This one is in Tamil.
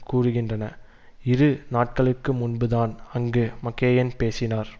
கூறுகின்றன இரு நாட்களுக்கு முன்புதான் அங்கு மக்கெயின் பேசினார்